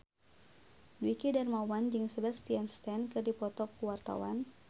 Dwiki Darmawan jeung Sebastian Stan keur dipoto ku wartawan